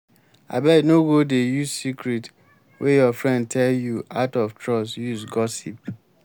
abeg no go dey use secret wey your friend tell you out of trust use gossip.